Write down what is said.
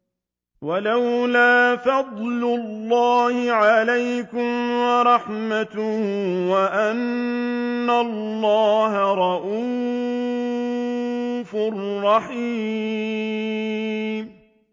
وَلَوْلَا فَضْلُ اللَّهِ عَلَيْكُمْ وَرَحْمَتُهُ وَأَنَّ اللَّهَ رَءُوفٌ رَّحِيمٌ